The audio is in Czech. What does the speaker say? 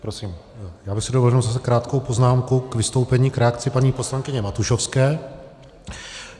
Já bych si dovolil jenom krátkou poznámku k vystoupení, k reakci paní poslankyně Matušovské.